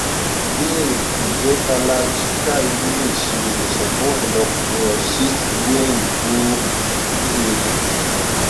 ìbéèrè nje kalarchikai le se iwosan fun ọpọlopo cyst ibu eyin ni pcod